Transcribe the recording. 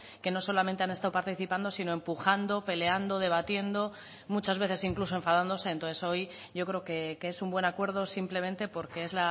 que no solamente han estado participando sino empujando peleando debatiendo muchas veces incluso enfadándose entonces hoy yo creo que es un buen acuerdo simplemente porque es